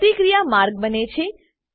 પ્રતિક્રિયા માર્ગ બને છે